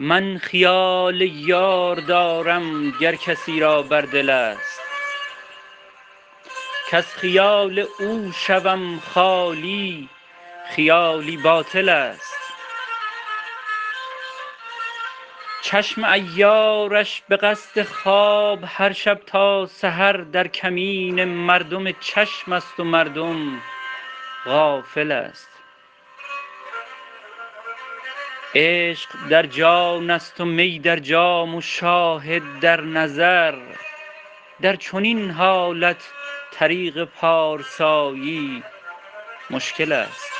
من خیال یار دارم گر کسی را بر دل است کز خیال او شوم خالی خیالی باطل است چشم عیارش به قصد خواب هرشب تا سحر در کمین مردم چشم است و مردم غافل است عشق در جان است و می در جام و شاهد در نظر در چنین حالت طریق پارسایی مشکل است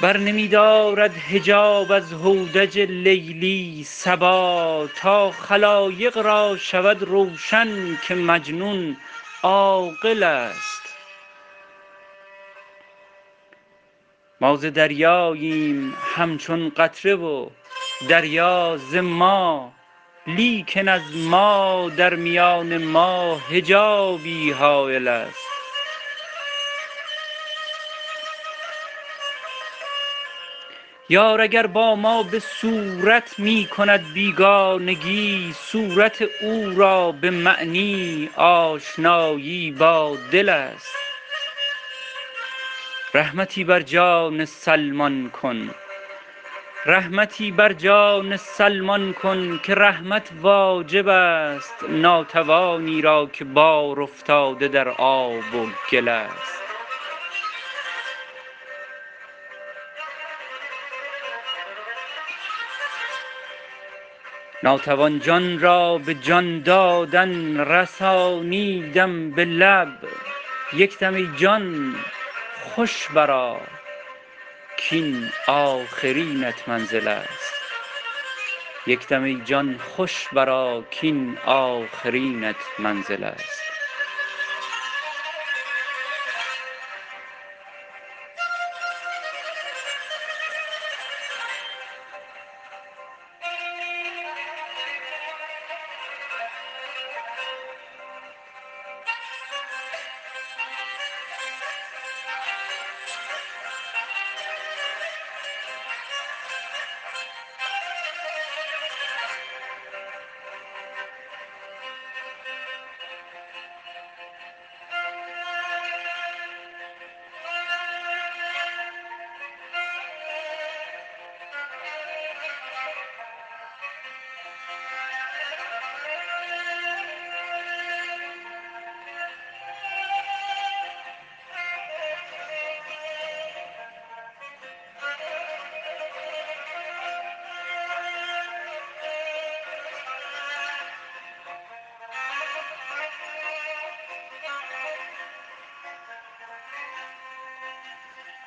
بر نمی دارد حجاب از هودج لیلی صبا تا خلایق را شود روشن که مجنون عاقل است ما ز دریاییم همچون قطره و دریا زما لیکن از ما در میان ما حجابی حایل است یار اگر با ما به صورت می کند بیگانگی صورت او را به معنی آشنایی با دل است رحمتی بر جان سلمان کن که رحمت واجب است ناتوانی را که بار افتاده در آب و گل است ناتوان جان را به جان دادن رسانیدم به لب یکدم ای جان خوش براکین آخرینت منزل است